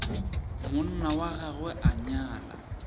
monna wa gagwe a nyala